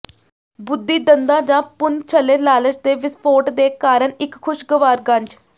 ਬੁੱਧੀ ਦੰਦਾਂ ਜਾਂ ਪੁਣਛਲੇ ਲਾਲਚ ਦੇ ਵਿਸਫੋਟ ਦੇ ਕਾਰਨ ਇੱਕ ਖੁਸ਼ਗਵਾਰ ਗੰਜ